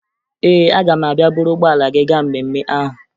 Ee, aga m abịa buru ụgbọala gị gaa mmemme ahụ